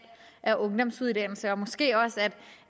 af ungdomsuddannelse og måske også at